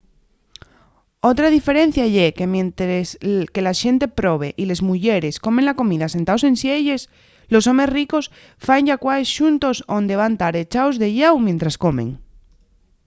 otra diferencia ye que mientres que la xente probe y les muyeres comen la comida sentaos en sielles los homes ricos faen llacuaes xuntos onde van tar echaos de llau mientres comen